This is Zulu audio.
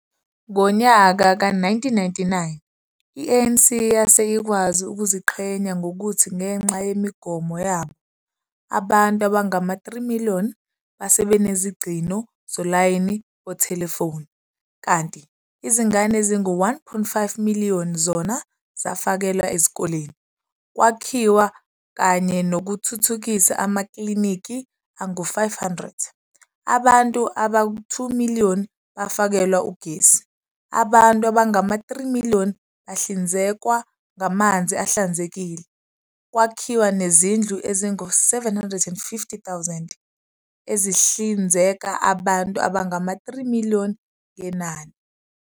Ngonyaka ka 1999, i-ANC yase ikwazi ukuziqhenya ngokuthi ngenxa yemigomo yabo, abantu abangama 3 miliyoni base benezingcino zolayini bothelefoni, kanti izingane ezingu 1.5miliyoni zona zafakelwa ezikoleni, kwakhiwa kanye nokuthuthukisa amakliniki angu 500, abantu abantu 2miliyoni bafakelwa ugesi, abantu abangama 3 miliyoni bahlinzekwa ngamanzi ahlanzekile, kwakhiwa nezindlu ezingu 750 000, ezizihlinzeka abantu abangama 3miliyoni ngenani.